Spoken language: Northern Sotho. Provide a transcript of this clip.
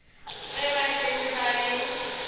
ge ba šetše ba le